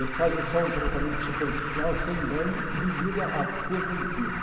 Eles fazem só um tratamento superficial sem banho devido à à perda de peso.